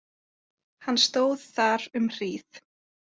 Hann stóð þar um hríð.